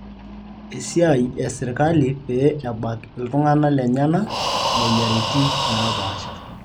Esiai e sirkali pee ebak ltung'ana lenyena moyiariti naapasha